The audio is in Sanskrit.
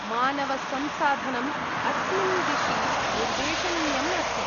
मानवसंसाधनम् अस्मिन्दिशि निर्देशनीयम् अस्ति।